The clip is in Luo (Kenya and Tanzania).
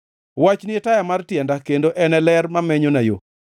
Wachni e taya mar tienda kendo en ler mamenyona yo.